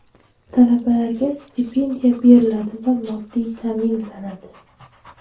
Talabalarga stipendiya beriladi va moddiy ta’minlanadi.